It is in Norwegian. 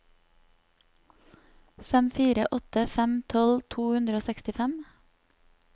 fem fire åtte fem tolv to hundre og sekstifem